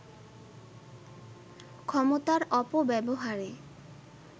ক্ষমতার অপব্যবহারে